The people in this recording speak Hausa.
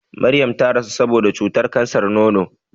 Maryam ta rasu saboda cutar kansar nono.